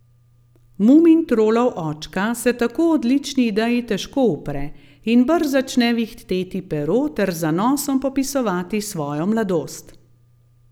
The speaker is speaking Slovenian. Mumintrolov očka se tako odlični ideji težko upre in brž začne vihteti pero ter z zanosom popisovati svojo mladost.